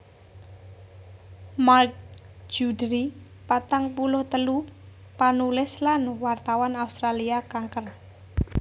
Mark Juddery patang puluh telu panulis lan wartawan Australia kanker